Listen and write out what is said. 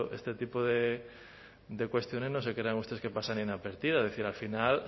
este tipo de cuestiones no se crean ustedes que pasan inadvertidas es decir al final